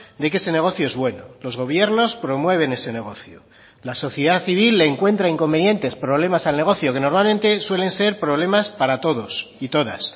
de que ese negocio es bueno los gobiernos promueven ese negocio la sociedad civil le encuentra inconvenientes problemas al negocio que normalmente suelen ser problemas para todos y todas